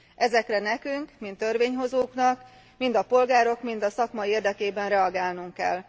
Ezekre nekünk mint törvényhozóknak, mind a polgárok, mind a szakma érdekében reagálnunk kell.